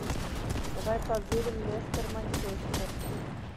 давай позырим лестер манчестер